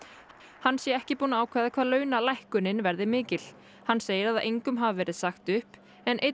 hann sé ekki búinn að ákveða hvað launalækkunin verði mikil hann segir að engum hafi verið sagt upp en einn